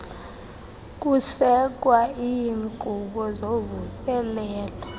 kusekwa iinkqubo zovuselelo